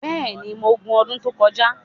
bẹẹni, Mo gù n odun to koja